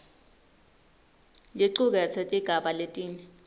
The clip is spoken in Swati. licuketse tigaba letine